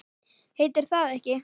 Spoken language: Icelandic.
Heitir það ekki